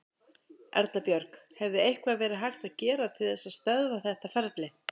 Erla Björg: Hefði eitthvað verið hægt að gera til þess að stöðva þetta ferli?